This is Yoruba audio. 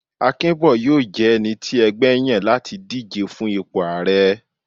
Akinbo yóò je ẹní ẹgbẹ yan lati dijé fún ìpo aarẹ.